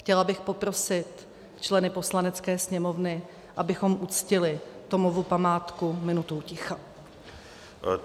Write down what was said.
Chtěla bych poprosit členy Poslanecké sněmovny, abychom uctili Tomovu památku minutou ticha.